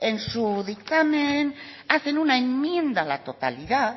en su dictamen hace una enmienda a la totalidad